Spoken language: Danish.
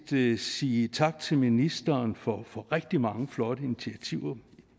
set sige tak til ministeren for for rigtig mange flotte initiativer